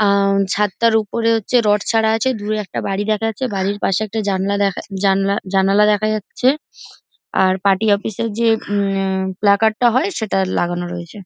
আহ ছাদটার ওপরে হচ্ছে রড ছাড়া আছে। দূরে একটা বাড়ি দেখা যাচ্ছে বাড়ির পাশে একটা জাননা দেখা জানলা জানালা দেখা যাচ্ছে। আর পার্টি অফিস -এর যে প্ল্যাকার্ড -টা হয় সেটা লাগানো রয়েছে।